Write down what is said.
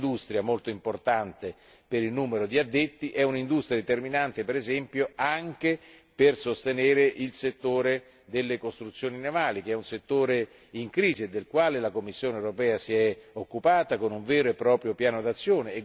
È un'industria molto importante per il numero di addetti e determinante, per esempio, anche per sostenere il settore delle costruzioni navali, che è un settore in crisi e del quale la Commissione europea si è occupata con un vero e proprio piano d'azione.